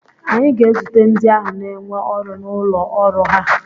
anyị ga-ezute ndị ahụ n'énwe ọrụ n'ụlọ ọrụ ha